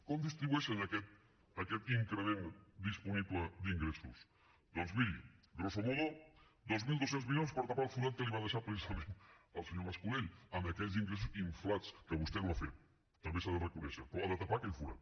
com distribueixen aquest increment disponible d’ingressos doncs miri grosso modo dos mil dos cents milions per tapar el forat que li va deixar precisament el senyor mas colell amb aquells ingressos inflats que vostè no ha fet també s’ha de reconèixer però ha de tapar aquell forat